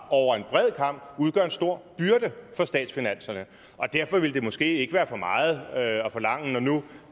over en bred kam udgør en stor byrde for statsfinanserne derfor ville det måske ikke være for meget at forlange når nu